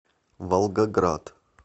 волгоград